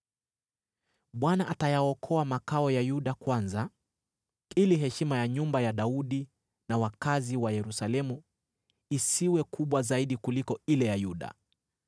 “ Bwana atayaokoa makao ya Yuda kwanza, ili heshima ya nyumba ya Daudi na wakazi wa Yerusalemu isiwe kubwa zaidi kuliko ile ya Yuda.